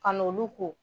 Ka n'olu ko